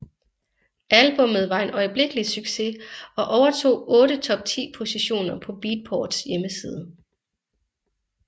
Albummet var en øjeblikkelig succes og overtog otte top 10 positioner på Beatports hjemmeside